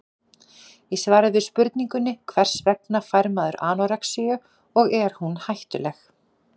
Í svari við spurningunni Hvers vegna fær maður anorexíu og er hún hættuleg?